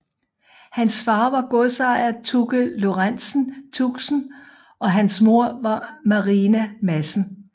Hans far var godsejer Tucke Lorenzen Tuxen og hans moder var Marina Madsen